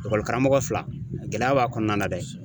karamɔgɔ fila, gɛlɛya b'a kɔnɔna na dɛ